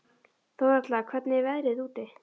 Þórhalla, hvernig er veðrið úti?